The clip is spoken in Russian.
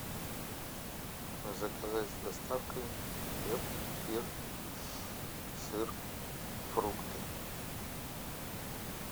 заказать с доставкой хлеб кефир сыр фрукты